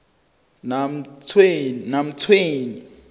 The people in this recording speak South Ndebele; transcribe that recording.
namtshweni